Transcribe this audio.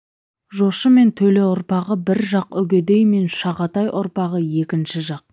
жошы мен төле ұрпағы бір жақ үгедей мен жағатай ұрпағы екінші жақ